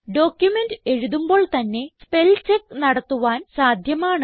document എഴുതുമ്പോൾ തന്നെ spell check നടത്തുവാൻ സാധ്യമാണ്